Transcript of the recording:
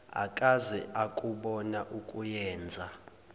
akaze akubona okuyenza